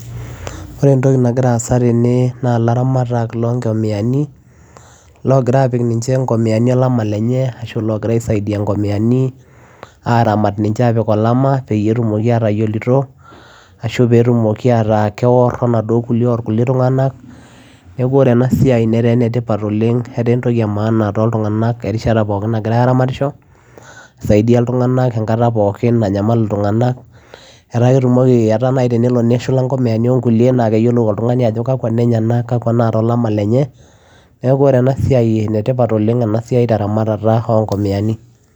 Ore entoki nagira aasa tene naa ilaramatak loongomiani logira aapik ninche ngomiani olchaba lenye arashu oogira aisaidia ngomiani aaramat ninche aapik olama pee etumoki aatayioloito ashu pee etumoki ataa keorr onaduo kulie orkulie tung'anak neeku ore ena siai netaa enetipat etaa entoki emaana toltung'anak erishata pookin nagirai aaramatisho isaidia iltung'anak enkata pookin nanyamal iltung'anak, etaa ketumoki etaa naai tenelo neshula ngomiani onkulie naa keyiolou oltung'ani ajo kakwa inenyenak kakwa naata olama lenye, neeku ore ena siai enetipat oleng' ena siai teramatare ongomiani.